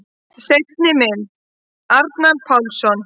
Seinni mynd: Arnar Pálsson.